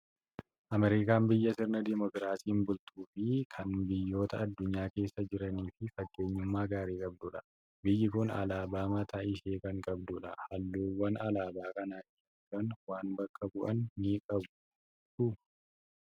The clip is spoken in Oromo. Ameerikaan biyya sirna Dimookiraasiin bultuu fi kan biyyoota addunyaa keessa jiraniif fakkeenyummaa gaarii qabdudha. Biyyi kun alaabaa mataa ishee kan qabdudha. Halluuwwan alaabaa kana irra jiran waan bakka bu'an ni qabuu?